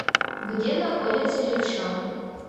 где находится левша